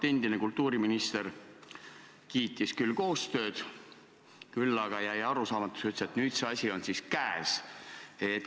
Endine kultuuriminister kiitis koostööd, küll aga jäi arusaamatuks ütlus, et nüüd on see asi siis käes.